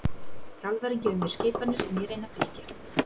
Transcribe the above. Þjálfarinn gefur mér skipanir sem ég reyni að fylgja.